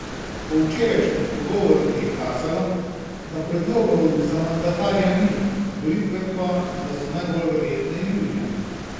Po včerajšnjih pogovorih je kazalo, da predlogov za mandatarja ni, volitve pa da so najbolj verjetne julija.